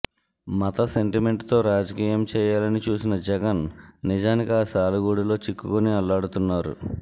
మత సెంటిమెంట్ తో రాజకీయం చేయాలని చూసిన జగన్ నిజానికి ఆ సాలెగూడులో చిక్కుకుని అల్లాడుతున్నారు